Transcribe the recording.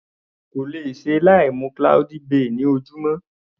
Kò lè ṣe láì mu cloudy bay ní ojúmọ́.